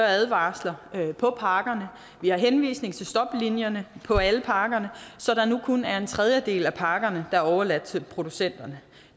advarsler på pakkerne vi har henvisning til stoplinien på alle pakkerne så det nu kun er en tredjedel af pakkerne der er overladt til producenterne